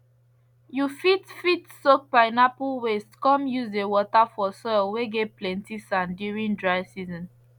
you fit fit soak pineapple waste come use the water for soil whey get plenty sand during dry season